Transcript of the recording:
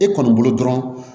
E kɔni bolo dɔrɔn